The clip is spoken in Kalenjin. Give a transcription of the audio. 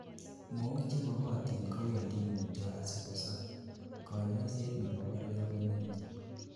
mook chemogotin ko wendi mutyo asikosob ,kanyoiset nebo koria konemie